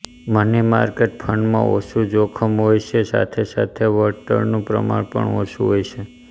money market ફંડમાં ઓછું જોખમ હોય છે સાથે સાથે વળતળનું પ્રમાણ પણ ઓછું હોય છે